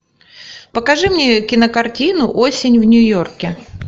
покажи мне кинокартину осень в нью йорке